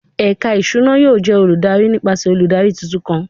Ẹka iṣuna yoo jẹ oludari nipasẹ oludari tuntun kan